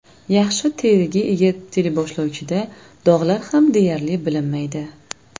Yaxshi teriga ega teleboshlovchida dog‘lar ham deyarli bilinmaydi.